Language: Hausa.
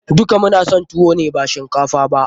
Duka mu na son tuwo ne ba shinkafa ba.